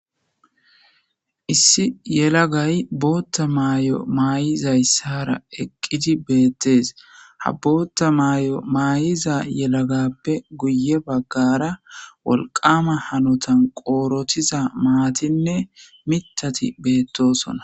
Issi yelagay bootta maay'o maay'izayssara eqqidi beettees ha bootta maay'o maayiza yelagappe guye baggara wolqama hanotan qoorotiza maatinne mitati beettosona.